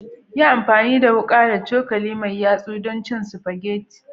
Yi amfani da wuka da cokali mai yatsa don cin spaghetti